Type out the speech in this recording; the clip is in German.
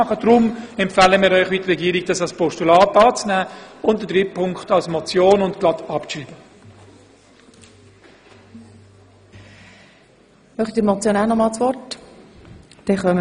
Deshalb empfiehlt Ihnen die Regierung, die ersten beiden Punkte dieses Anliegens als Postulat und den dritten Punkt als Motion mit gleichzeitiger Abschreibung anzunehmen.